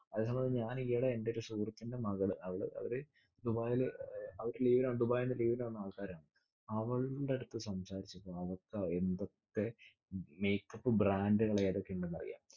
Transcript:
ഞാൻ ഈയെടെ എൻ്റെ എൻ്റെ മകള് അവള് അവര് ദുബായില്‍ ഏർ അവര് leave ൽ വന്നു ദുബായിൽനിന്നു leave ഇന് വന്ന ആൾക്കാരാണ്. അവൾടെയടുത്ത സംസാരിച്ചപ്പോൾ അവൾക്ക് എന്തൊക്കെ make up ഉം brand ടുകൾ ഏതൊക്കെയിണ്ടെന്ന് അറിയാം.